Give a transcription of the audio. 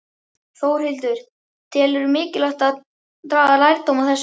Þórhildur: Telurðu mikilvægt að draga lærdóm af þessu?